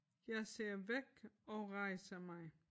Jeg ser væk og rejser mig